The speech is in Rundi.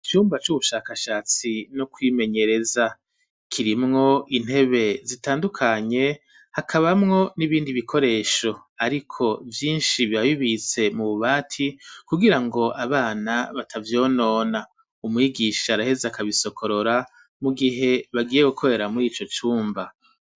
Icumba c'ubushakashatsi no kwimenyereza kirimwo intebe zitandukanye hakabamwo n'ibindi bikoresho ariko vyishi biba bibitse mu bubati kugira ngo abana batavyonona umwigisha araheze akabisokorora mu gihe bagiye gukorera murico cumba.